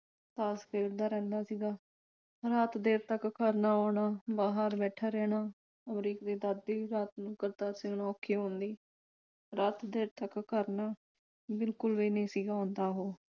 ਤਾਸ਼ ਖੇਡਦਾ ਰਹਿੰਦਾ ਸੀਗਾ। ਹੁਣ ਰਾਤ ਦੇਰ ਤੱਕ ਘਰ ਨਾ ਆਉਣਾ ਬਾਹਰ ਬੈਠਾ ਰਹਿਣਾ। ਅਮਰੀਕ ਦੀ ਦਾਦੀ ਰਾਤ ਨੂੰ ਕਰਤਾਰ ਸਿੰਘ ਨੂੰ ਔਖੀ ਹੁੰਦੀ ਰਾਤ ਦੇਰ ਤੱਕ ਘਰ ਨਾ ਬਿਲਕੁਲ ਵੀ ਨਹੀਂ ਸੀਗਾ ਆਉਂਦਾ ਉਹ।